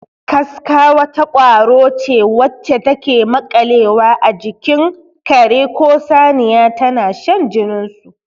Kaska wata ƙwaro ce wacce take maƙalewa a jikin kare ko saniya tana shan jinin su.